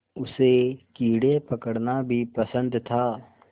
उसे कीड़े पकड़ना भी पसंद था